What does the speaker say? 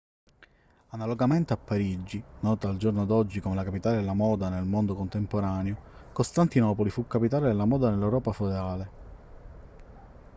analogamente a parigi nota al giorno d'oggi come la capitale della moda del mondo contemporaneo costantinopoli fu capitale della moda nell'europa feudale